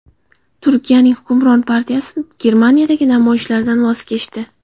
Turkiyaning hukmron partiyasi Germaniyadagi namoyishlardan voz kechdi.